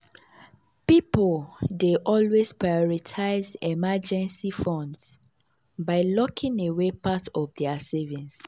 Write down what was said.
pipul dey always prioritize emergency funds by locking away part of dia savings.